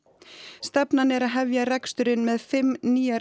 stefnan er að hefja reksturinn með fimm nýjar